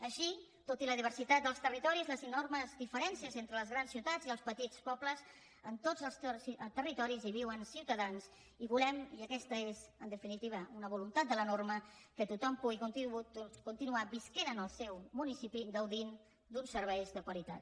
així tot i la diversitat dels territoris les enormes diferències entre les grans ciutats i els petits pobles en tots els territoris viuen ciutadans i volem i aquesta és en definitiva una voluntat de la norma que tothom pugui continuar vivint en el seu municipi gaudint d’uns serveis de qualitat